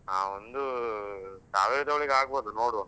ಹಾ, ಒಂದು ಸಾವಿರದೊಳಗೆ ಆಗ್ಬೋದು ನೋಡುವಾ.